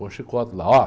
Põe o chicote lá.